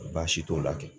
Baasi t'o la kɛ